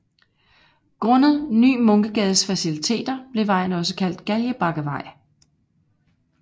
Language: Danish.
Grundet Ny Munkegades faciliteter blev vejen også kaldt Galgebakkevej